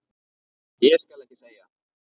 Ég skal ekki segja.